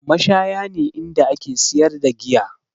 Mashaya ne inda ake siyar da giya